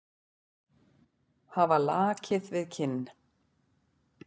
Hafa lakið við kinn.